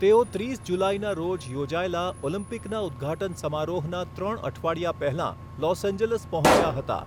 તેઓ ત્રીસ જુલાઈના રોજ યોજાયેલા ઓલિમ્પિકના ઉદ્ઘાટન સમારોહના ત્રણ અઠવાડિયા પહેલા લોસ એન્જલસ પહોંચ્યા હતા.